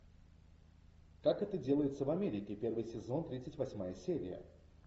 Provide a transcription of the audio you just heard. как это делается в америке первый сезон тридцать восьмая серия